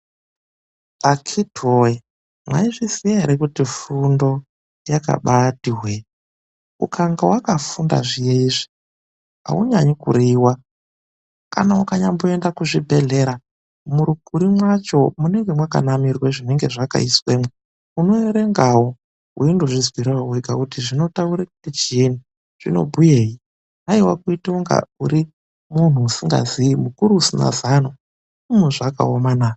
Akhiti woye! mwaizviziya ere kuti kufunda yakambaiti hwe ?Ukange wakafunda viyeizvi aunyanyi kureiwa kana ,ukanya mboende kuchibhehlera muukuru mwacho munemge mukanirwa zvakaiswemwo unoerengawo weindizvizwirawo wegakuti zvinotaure kuti chii zvino bhuyeyi hayiwa kuite muntu usikazii chiro mukuru asina zano ,hiiii zvakabaoma naa!